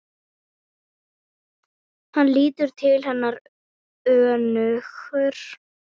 Hann lítur til hennar önugur.